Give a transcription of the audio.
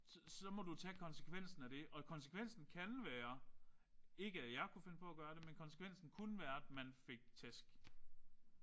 Så så må du tage konsekvensen af det. Og konsekvensen kan være ikke at jeg kunne finde på at gøre det men konsekvensen kunne være at man fik tæsk